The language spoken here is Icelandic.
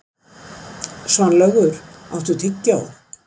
Svanlaugur, áttu tyggjó?